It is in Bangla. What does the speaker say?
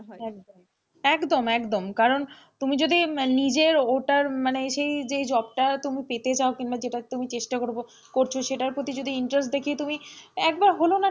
একদম একদম কারণ তুমি যদি নিজের ওটার মানে সেই যেই job টা তুমি পেতে চাও কিংবা যেটার তুমি চেষ্টা করছো সেটার প্রতি যদি interest দেখিয়ে তুমি একবার হলেও,